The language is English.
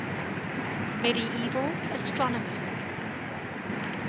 medieval astronomers